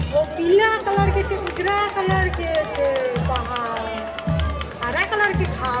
वो पीला कलर के छै। उजरा कलर के छै पहाड़ हरा कलर के घांस।